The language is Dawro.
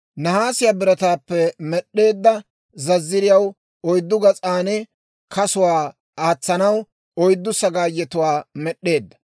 Nahaasiyaa birataappe med'd'eedda zazziriyaw oyddu gas'an kasuwaa aatsanaw oyddu sagaayetuwaa med'd'eedda.